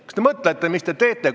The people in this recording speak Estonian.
Kas te mõtlete ka, mis te teete?